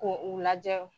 Ko u lajɛ